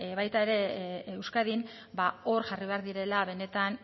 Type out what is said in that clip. baita ere euskadin ba hor jarri behar direla benetan